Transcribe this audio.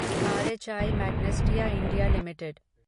are H I Magnesita India limited